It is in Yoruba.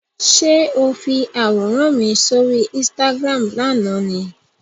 Ṣé o fi àwòrán mi sóri Instagram lánàá ni?